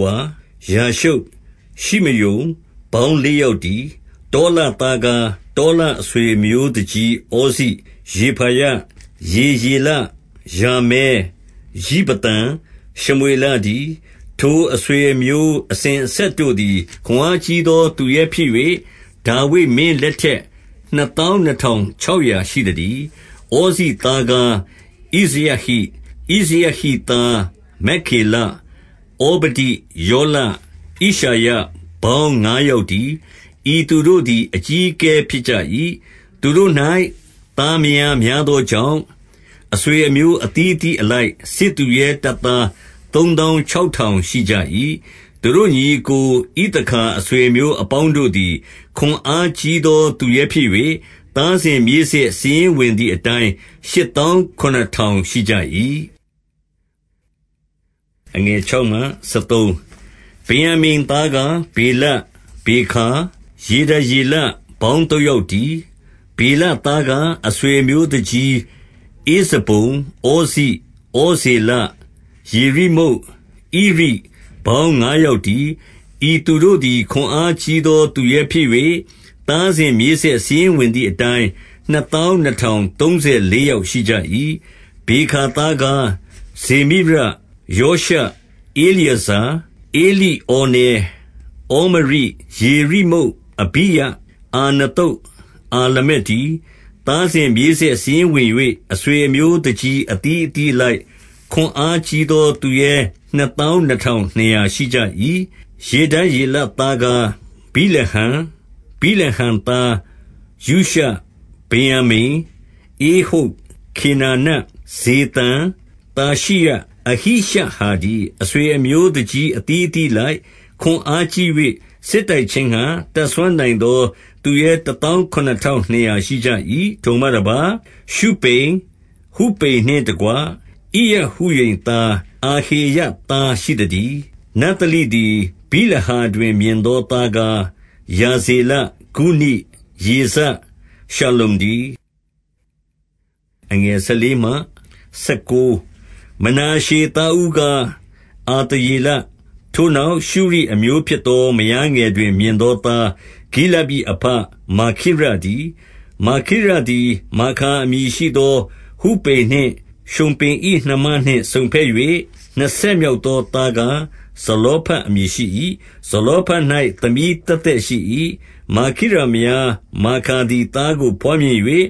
ဝါ၊ ယာရှုပ်၊ ရှိမရုန်၊ ပေါင်းလေးယောက်တည်း။ တောလသားကား တောလအဆွေအမျိုးသူကြီး ဩဇိ၊ ရေဖာယ၊ ယေရေလ၊ ယာမဲ၊ ယိဗသံ၊ ရှမွေလတည်း။ ထိုအဆွေအမျိုးအစဉ်အဆက်တို့သည် ခွန်အားကြီးသော သူရဲဖြစ်၍၊ ဒါဝိဒ်မင်းလက်ထက်နှစ်သောင်း နှစ်ထောင် ခြောက်ရာရှိသတည်း။ ဩဇိသားကား ဣဇရဟိ၊ ဣဇရဟိသား မက္ခေလ၊ ဩဗဒိ၊ ယောလ၊ ဣရှယ၊ ပေါင်းငါးယောက် တည်း။ ဤသူတို့သည် အကြီးအကဲ ဖြစ်ကြ၏။ သူတို့၌ သားမယားများသောကြောင့်၊ အဆွေ အမျိုး အသီးအသီးအလိုက်၊ စစ်သူရဲတပ်သား သုံးသောင်း ခြောက်ထောင် ရှိကြ၏။ သူတို့ညီအစ်ကို ဣသခါအဆွေအမျိုးအပေါင်း တို့သည် ခွန်အားကြီးသောသူရဲဖြစ်၍၊ သားစဉ်မြေးဆက် စာရင်းဝင်သည်အတိုင်း၊ ရှစ်သောင်းခုနစ်ထောင် ရှိကြ၏။ ဗင်္ယာမိန်သားကား ဗေလ၊ ဗေခါ၊ ယေဒယေလ၊ ပေါင်းသုံးယောက်တည်း။ ဗေလသားကား အဆွေအမျိုးသူကြီးဧဇဗုန်၊ ဩဇိ၊ ဩဇေလ၊ ယေရိမုတ်၊ ဣရိ၊ ပေါင်းငါးယောက်တည်း။ ဤသူတို့သည် ခွန်အားကြီးသော သူရဲဖြစ်၍၊ သားစဉ် မြေးဆက် စာရင်းဝင်သည်အတိုင်း၊ နှစ်သောင်း နှစ်ထောင်သုံးဆယ် လေးယောက်ရှိကြ၏။ ဗေခါသားကား ဇေမိရ၊ ယောရှ၊ ဧလျေဇာ၊ ဧလိဩနဲ၊ ဩမရိ၊ ယေရိမုတ်၊ အဘိယ၊ အာနသုတ်၊ အာလမက်တည်း။ သားစဉ်မြေးဆက် စာရင်းဝင်၍၊ အဆွေအမျိုး သူကြီးအသီး အသီးအလိုက်၊ ခွန်အားကြီးသော သူရဲ နှစ်သောင်းနှစ်ထောင်နှစ်ရာရှိကြ၏။ ယေဒယေလသားကား ဗိလဟန်၊ ဗိလဟန်သား ယုရှ၊ ဗင်္ယာမိန်၊ ဧဟုဒ်၊ ခေနာန၊ ဇေသန်၊ သာရှိရှ၊ အဟိရှဟာတည်း။ အဆွေအမျိုးသူကြီး အသီးအသီးအလိုက်၊ ခွန်အားကြီး၍ စစ်တိုက်ခြင်းငှါ၊ တတ်စွမ်းနိုင်သော သူရဲ တသောင်း ခုနစ်ထောင်နှစ်ရာ ရှိကြ၏။ ထိုမှတပါး၊ ရှုပိမိ၊ ဟုပိမ်နှင့်တကွ ဣရဟုရှိမ်သား၊ အာဟေရသား ရှိသတည်း။ နဿလိသည် ဗိလဟာတွင် မြင်သောသားကား၊ ဟာဇေလ၊ ဂုနိ၊ ယေဇ၊ ရှလ္လုံတည်း။ မနာရှေသားဦးကား အာသရေလ၊ ထိုနောက်၊ ရှုရိအမျိုးဖြစ်သော မယားငယ်တွင် မြင်သောသား၊ ဂိလဒ်၏အဘမာခိရတည်း။ မာခိရသည်မာခါ အမည်ရှိသောဟုပိမ်နှင့် ရှုမ်ပိ၏နှမနှင့်စုံဘက်၍၊ နှစ်ဆက်မြောက်သောသားကား ဇလောဖတ်အမည်ရှိ၏။ ဇလောဖတ်၌ သမီးသက်သက် ရှိ၏။ မာခိရမယားမာခါသည် သားကို ဘွားမြင်၍၊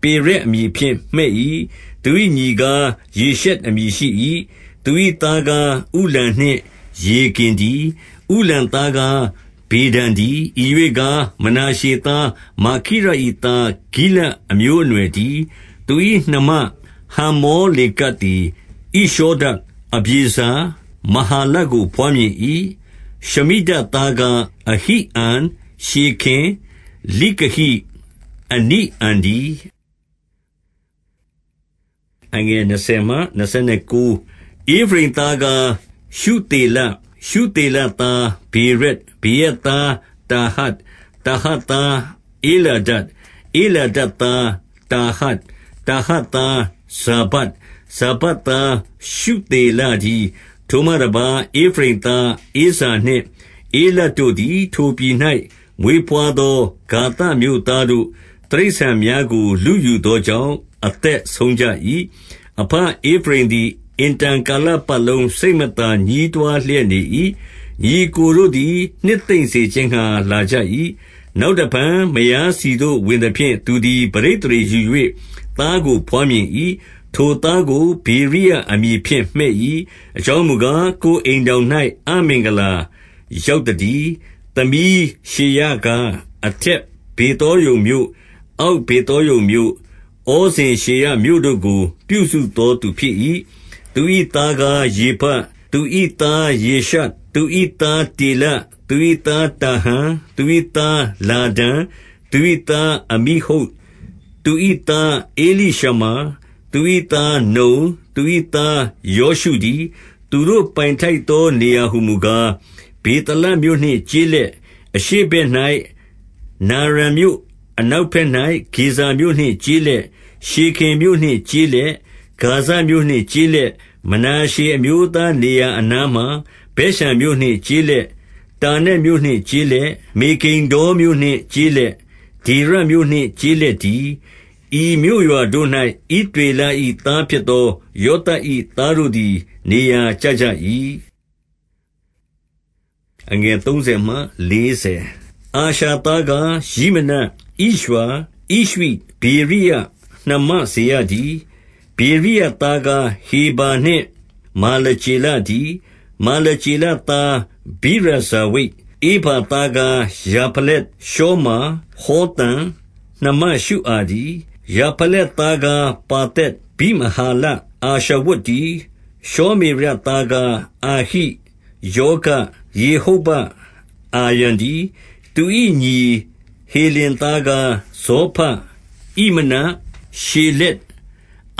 ပေရက်အမည်ဖြင့် မှည့်၏။ သူ၏ညီကား ရှေရက်အမည် ရှိ၏။ သူ၏သားကား ဥလံနှင့် ရေကင်တည်း။ ဥလံသားကားဗေဒန်တည်း။ ဤရွေ့ကား မနာရှေသား မာခိရ၏ သားဂိလဒ်အမျိုးအနွယ်တည်း။ သူ၏နှမ ဟမ္မောလေကက်သည် ဣရှောဒ၊ အဗျေဇာ၊ မဟာလကို ဘွားမြင်၏။ ရှမိဒသးကား အဟိအန်၊ ရှေခင်၊ လိကဟိ၊ အနိအံတည်း။ ဧဖရိမ်သားကား ရှုသေလ၊ ရှုသေလသား ဗေရက်၊ ဗေရက်သား တာဟတ်၊ တာဟတ်သား ဧလာဒ၊ ဧလာဒသား တာဟတ်၊ တာဟတ်သား ဇာဗဒ်၊ ဇာဗဒ်သား ရှုသေလ တည်း။ ထိုမှတပါး၊ ဧဖရိမ်သားဇောနှင့်ဧလဒ်တို့သည် ထိုပြည်၌မွေးဘွားသော၊ ဂါသမြို့သားတို့ တိရစ္ဆာန်များကို လုယူသောကြောင့် အသက်ဆုံးကြ၏။ အဘဧဖရိမ်သည် အင်တန်ကာလပတ်လုံး စိတ် မသာညည်းတွားလျက် နေ၏။ ညီအစ်ကိုတို့သည် နှစ်သိမ့် စေခြင်းငှါ လာကြ၏။ နောက်တဖန်မယားဆီသို့ဝင်သဖြင့် သူသည် ပဋိသန္ဓေယူ၍ သားကိုဘွားမြင်၏။ ထိုသားကို ဗေရိယ အမည်ဖြင့်မှည့်၏။ အကြောင်းမူကား၊ ကိုယ်အိမ်ထောင်၌ အမင်္ဂလာရောက်သတည်း။ သမီးရှေရကား အထက် ဗေသောရုန်မြို့၊ အောက်ဗေသောရုန်မြို့၊ ဩဇင်ရှေရမြို့တို့ကို ပြုစုသော သူဖြစ်၏။ သူ၏သားကားရေဖ၊ သူ၏သားရေရှပ်၊ သူ၏သားတေလ၊ သူ၏သားတာဟန်၊ သူ၏သား လာဒန်၊ သူ၏သား အမိဟုဒ်၊ သူ၏ သား ဧလိရှမာ၊ သူ၏သားနုန်၊ သူ၏သားယောရှုတည်း။ သူတို့ပိုင်ထိုက်သော နေရာဟူမူကား၊ ဗေသလ မြို့နှင့် ကျေးလက်၊ အရှေ့ဘက်၌ နာရန်မြို့၊ အနောက် ဘက်၌ ဂေဇာမြို့နှင့်ကျေးလက်၊ ရှေခင်မြို့နှင့်ကျေးလက်၊ ဂါဇမြို့နှင့် ကျေးလက်၊ မနာရှေအမျိုးသားနေရာအနားမှာ ဗက်ရှန်မြို့ နှင့်ကျေးလက်၊ တာနက်မြို့နှင့်ကျေးလက်၊ မေဂိဒ္ဒေါမြို့ နှင့်ကျေးလက်၊ ဒေါရမြို့နှင့် ကျေးလက်တည်း။ ဤမြို့ရွာ တို့၌ ဣသရေလ၏သားဖြစ်သော ယောသပ်၏ သားတို့ သည် နေရာကျကြ၏။ အာရှာသားကား ယိမန၊ ဣရွာ၊ ဣရွှိ၊ ဗေရိယ၊ နှမ စေရတည်း။ ဗေရိယသားကား ဟေဗာနှင့် မာလကျေလ တည်း။ မာလကျေလသားကား ဗိရဇာဝိတ်၊ ဟေဗာသားကား ယာဖလက်၊ ရှောမာ၊ ဟောသံ၊ နှမ ရှုအာတည်း။ ယာဖလက်သားကား ပါသက်၊ ဗိမဟာလ၊ အာရှဝတ်တည်း။ ရှောမေရသားကား အာဟိ၊ ရောဂ၊ ယေဟုဗ္ဗ၊ အာရံတည်း။ သူ၏ညီဟေလင်သားကား ဇောဖ၊ ဣမန၊ ရှေလက်၊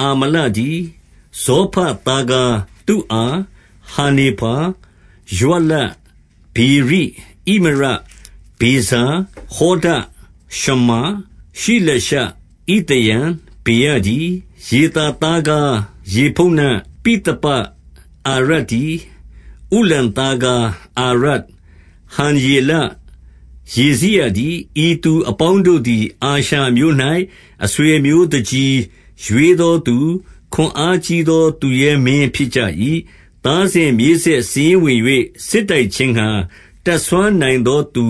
အာမလတည်း။ ဇောဖသားကား သုအာ၊ ဟာနေဖာ၊ ရွှလ၊ ဗေရိ၊ ဣမရ၊ ဗေဇာ၊ ဟောဒ၊ ရှမ္မ၊ ရှိလရှ၊ ဣသရန်၊ ဗေရ တည်း။ ယေသာသားကား ယေဖုန္န ပိသပ၊ အာရတည်း။ ဥလ္လသားကား အာရ၊ ဟံယေလ၊ ရေဇိယတည်း။ ဤသူအပေါင်းတို့သည် အာရှာအမျိုး၌ အဆွေ အမျိုးသူကြီး၊ ရွေးသောသူ၊ ခွန်အားကြီးသော သူရဲမင်း ဖြစ်ကြ၏။ သားစဉ်မြေးဆက်စာရင်းဝင်၍ စစ်တိုက်ခြင်း ငှါ တတ်စွမ်းနိုင်သောသူ